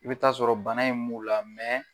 I be taa sɔrɔ bana in m'u la